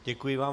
Děkuji vám.